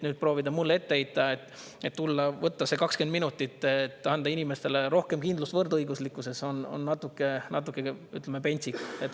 Nüüd proovida mulle ette heita, et ma tulen võtan selle 20 minutit, et anda inimestele rohkem kindlust võrdõiguslikkuses, on natuke, ütleme, pentsik.